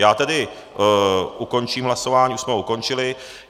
Já tedy ukončím hlasování, už jsme ho ukončili.